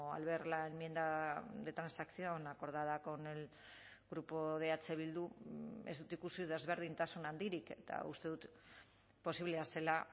al ver la enmienda de transacción acordada con el grupo de eh bildu ez dut ikusi desberdintasun handirik eta uste dut posiblea zela